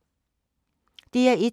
DR1